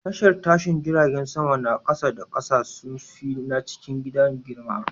Tashar tashin jiragen sama na kasa da kasa sun fi na cikin gida girma.